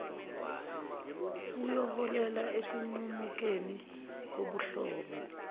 kuyoholela ekunqumukeni kobuhlobo